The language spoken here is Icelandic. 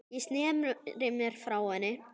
Ég sneri mér frá henni.